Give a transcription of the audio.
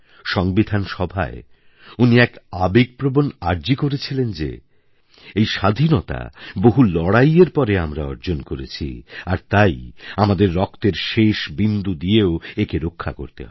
সংবিধান সভায় উনি এক আবেগপ্রবণ আর্জি করেছিলেন যে এই স্বাধীনতা বহু লড়াইয়ের পরে আমরা অর্জন করেছি আর তাই আমাদের রক্তের শেষ বিন্দু দিয়েও একে রক্ষা করতে হবে